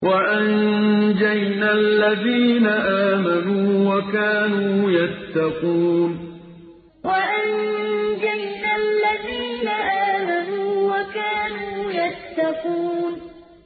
وَأَنجَيْنَا الَّذِينَ آمَنُوا وَكَانُوا يَتَّقُونَ وَأَنجَيْنَا الَّذِينَ آمَنُوا وَكَانُوا يَتَّقُونَ